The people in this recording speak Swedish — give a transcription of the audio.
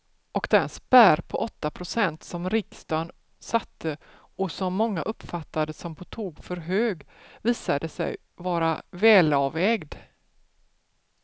Och den spärr på åtta procent som riksdagen satte och som många uppfattade som på tok för hög visade sig vara välavvägd.